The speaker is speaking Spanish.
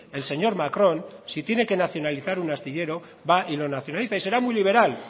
el señor macron si tiene que nacionalizar un astillero va y lo nacionaliza será muy liberal